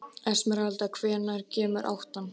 Esmeralda, hvenær kemur áttan?